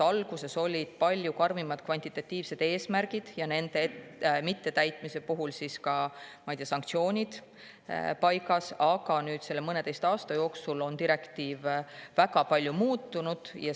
Alguses olid palju karmimad kvantitatiivsed eesmärgid ja nende mittetäitmise eest ka sanktsioonid, aga mõneteistkümne aasta jooksul on see direktiiv väga palju muutunud.